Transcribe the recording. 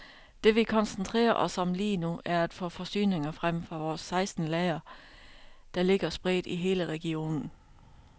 Det vi koncentrerer os om lige nu, er at få forsyninger frem fra vores seksten lagre, der ligger spredt i hele regionen.